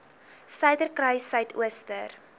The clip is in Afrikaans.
suiderkruissuidooster